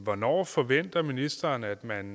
hvornår forventer ministeren at man